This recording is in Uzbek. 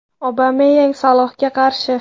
Obameyang Salohga qarshi.